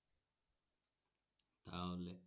তাহলে